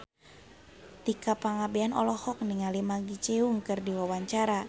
Tika Pangabean olohok ningali Maggie Cheung keur diwawancara